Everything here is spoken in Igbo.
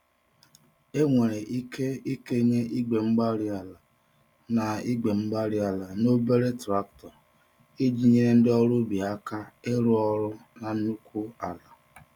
Enwere ike ikenye igwe-mgbárí-ala na igwe-mgbárí-ala na obere traktọ, iji nyèrè ndị ọrụ ubi àkà ịrụ ọrụ na nnukwu ala